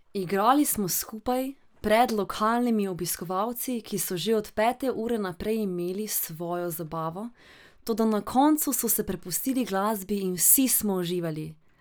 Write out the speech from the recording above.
Igrali smo skupaj pred lokalnimi obiskovalci, ki so že od pete ure naprej imeli svojo zabavo, toda na koncu so se prepustili glasbi in vsi smo uživali.